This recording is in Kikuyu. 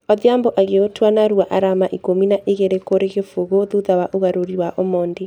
Odhiombo agĩũtua narua arama ikũmi na igĩrĩ kũrĩ kĩbũgũ thutha wa ũgarũrĩ wa omondi.